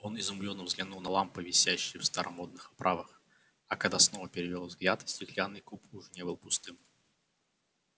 он изумлённо взглянул на лампы висящие в старомодных оправах а когда снова перевёл взгляд стеклянный куб уже не был пустым